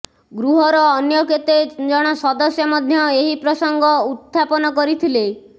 ଗୃହର ଅନ୍ୟ କେତେ ଜଣ ସଦସ୍ୟ ମଧ୍ୟ ଏହି ପ୍ରସଙ୍ଗ ଉତଥାପନ କରିଥିଲେ